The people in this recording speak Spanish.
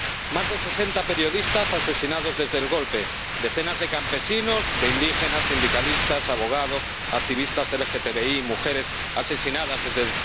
Más de sesenta periodistas asesinados desde el golpe, decenas de campesinos, de indígenas, sindicalistas, abogados, activistas LGTBI y mujeres asesinados desde